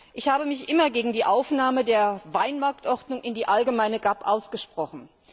Ich habe mich immer gegen die Aufnahme der Weinmarktordnung in die allgemeine GAP ausgesprochen.